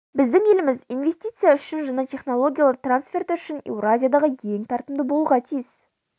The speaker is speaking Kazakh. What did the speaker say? біздің еліміз инвестиция үшін және технологиялар трансферті үшін еуразиядағы ең тартымды болуға тиіс